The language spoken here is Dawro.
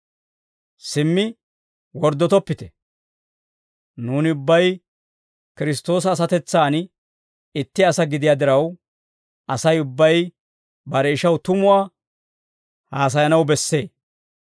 Simmi worddotoppite. Nuuni ubbay Kiristtoosa asatetsan itti asaa gidiyaa diraw, Asay ubbay bare ishaw tumuwaa haasayanaw bessee.